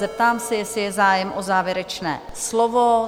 Zeptám se, jestli je zájem o závěrečné slovo?